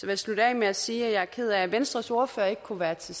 jeg slutte af med at sige at jeg er ked af at venstres ordfører ikke kunne være til